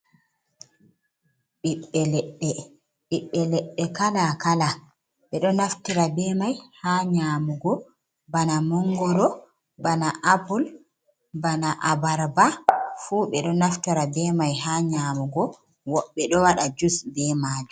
Ɓiɓɓe leɗɗe. Ɓiɓɓe leɗɗe kala-kala ɓe ɗo naftira be mai haa nƴaamugo, bana mongoro, bana apul, bana abarba, fuu ɓe ɗo naftira be mai haa nƴaamugo. woɓɓe ɗo waɗa jus be maajum.